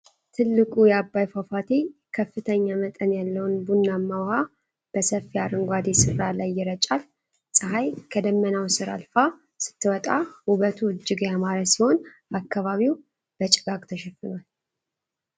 ትልቁ የአባይ ፏፏቴ ከፍተኛ መጠን ያለውን ቡናማ ውሃ በሰፊ አረንጓዴ ስፍራ ላይ ይረጫል። ፀሐይ ከደመናው ስር አልፋ ስትወጣ ውበቱ እጅግ ያማረ ሲሆን፣ አካባቢው በጭጋግ ተሸፍኗል።